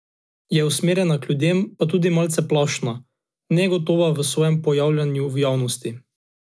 Je usmerjena k ljudem, pa tudi malce plašna, negotova v svojem pojavljanju v javnosti.